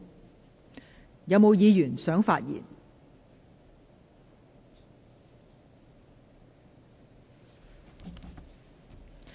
是否有議員想發言？